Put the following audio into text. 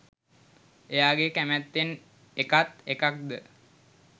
එයාගෙ කැමත්තෙන්ඒකත්එකක්ද?